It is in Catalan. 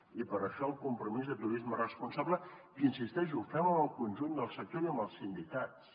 i per això el compromís de turisme responsable que hi insisteixo el fem amb el conjunt del sector i amb els sindicats